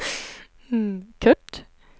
Kurt